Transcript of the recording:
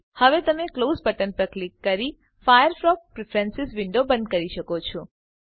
હવે તમે close button પર ક્લિક કરી ફાયરફોક્સ પ્રીફ્રેન્સીઝ વિન્ડો બંધ કરી શકો છો